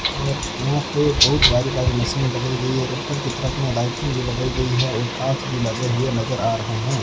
और वहां पे बहुत भारी भारी मशीने लगाई गई है पत्थर नजर आ रहें हैं।